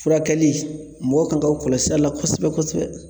Furakɛli mɔgɔw kan ka kɔlɔsili la kosɛbɛ kosɛbɛ